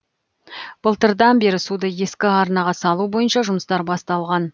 былтырдан бері суды ескі арнаға салу бойынша жұмыстар басталған